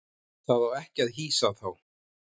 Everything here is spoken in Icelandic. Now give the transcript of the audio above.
Það á ekki að hýsa þá.